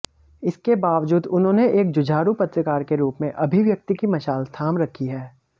इसके बावजूद उन्होंने एक जुझारू पत्रकार के रूप में अभिव्यक्ति की मशाल थाम रखी है